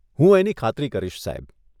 હું એની ખાતરી કરીશ સાહેબ.